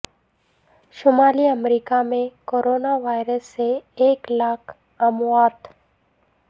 شمالی امریکہ میں corona virus سے ایک لاکھ اموات